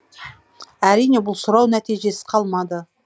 әрине бұл сұрау нәтижесіз қалмады